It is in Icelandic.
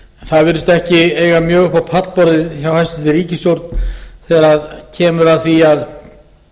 það virðist ekki eiga mjög upp á pallborðið hjá hæstvirtri ríkisstjórn þegar kemur að því að